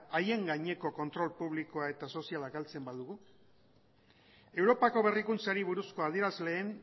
haien gaineko kontrol publikoa eta soziala galtzen badugu europako berrikuntzari buruzko adierazleen